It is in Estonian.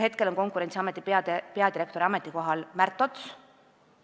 Hetkel on Konkurentsiameti peadirektori ametikohal Märt Ots.